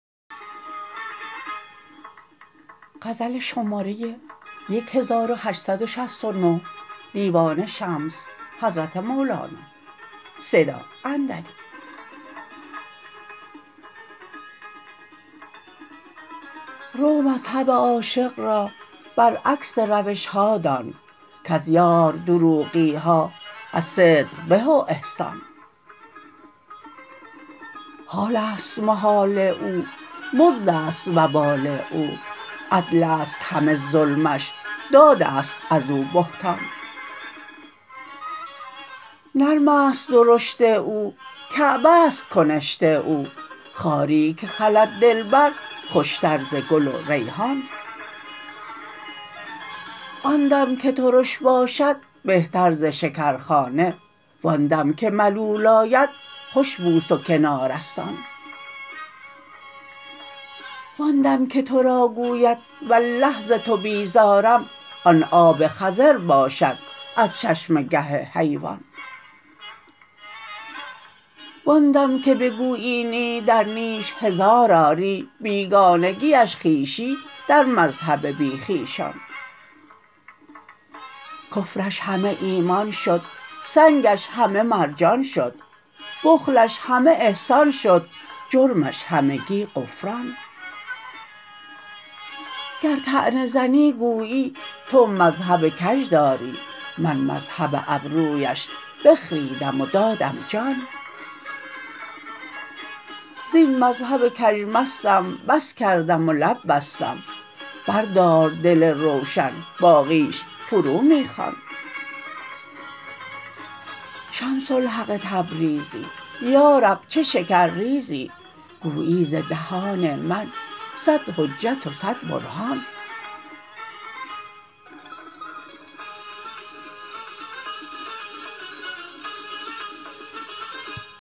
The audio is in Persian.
رو مذهب عاشق را برعکس روش ها دان کز یار دروغی ها از صدق به و احسان حال است محال او مزد است وبال او عدل است همه ظلمش داد است از او بهتان نرم است درشت او کعبه ست کنشت او خاری که خلد دلبر خوشتر ز گل و ریحان آن دم که ترش باشد بهتر ز شکرخانه وان دل که ملول آید خوش بوس و کنار است آن وان دم که تو را گوید والله ز تو بیزارم آن آب خضر باشد از چشمه گه حیوان وان دم که بگوید نی در نیش هزار آری بیگانگیش خویشی در مذهب بی خویشان کفرش همه ایمان شد سنگش همه مرجان شد بخلش همه احسان شد جرمش همگی غفران گر طعنه زنی گویی تو مذهب کژ داری من مذهب ابرویش بخریدم و دادم جان زین مذهب کژ مستم بس کردم و لب بستم بردار دل روشن باقیش فرو می خوان شمس الحق تبریزی یا رب چه شکرریزی گویی ز دهان من صد حجت و صد برهان